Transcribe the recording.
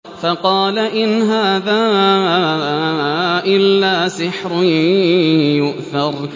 فَقَالَ إِنْ هَٰذَا إِلَّا سِحْرٌ يُؤْثَرُ